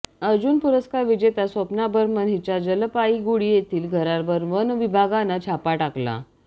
अर्जुन पुरस्कार विजेत्या स्वप्ना बर्मन हिच्या जलपाईगुडी येथील घरावर वन विभागानं छापा टाकला